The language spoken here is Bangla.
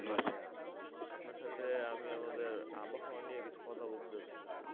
আপনার সাথে আমি আমাদের আবহাওয়া নিয়ে কিছু কথা বলতে চাচ্ছিলাম